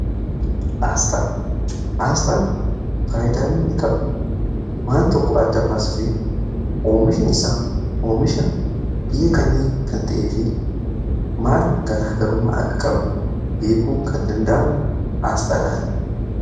Aasxaa, aasxaan faayidaan inni qabu waan tokko adda baasufii oomishni isaa oomisha biyya kamii kan ta'ee fi maal garaa garummaa akka qabu beekuun kan danda'amu aasxaadhaani.